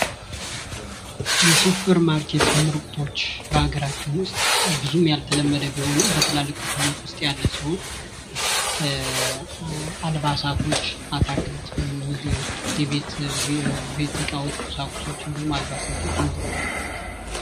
ማኮሮኒ: ከፓስታ ዓይነቶች አንዱ ሲሆን በትንንሽ ጎንበስ ጎንበስ ያሉ ቱቦዎች ቅርጽ ይታወቃል። በተለያዩ ሶሶች ይቀርባል።